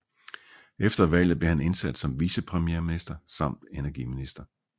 Efter valget blev han indsat som vicepremierminister samt energiminister